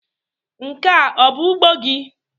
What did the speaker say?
Nke a ọ bụ ugbo gị?